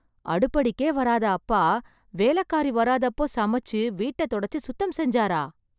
அடுப்படிக்கே வராத அப்பா, வேலைக்காரி வராதப்போ சமைச்சி , வீட்ட தொடைச்சு சுத்தம் செஞ்சாரா...